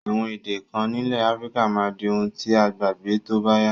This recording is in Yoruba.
Àwon èdè kan nílẹ̀ Africa máa di oun ti a gbàgbé tóbáyá